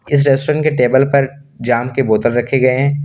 इस रेस्टोरेंट के टेबल पर जाम के बोतल रखे गए हैं।